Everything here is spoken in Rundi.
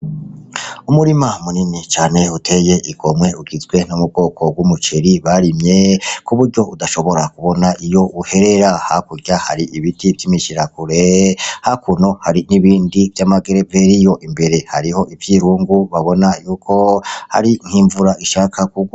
Umurima munini cane uteye igomwe ugizwe n'ubwoko bw'umuceri barimye kuburyo udashobora kubona iyo uherera. Hakurya hariho ibiti vy'imishirakure hakurya hari ibindi vy'ama gereveriyo, imbere hariho ivyirungu babona y'uko hari nk' imvura ishaka kugwa.